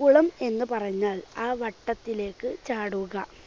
കുളം എന്നുപറഞ്ഞാൽ ആ വട്ടത്തിലേയ്ക്ക് ചാടുക.